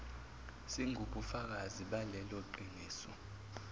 singubufakazi balelo qiniso